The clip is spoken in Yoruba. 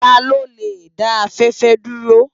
Tá ló lé dá áfèfè dúró?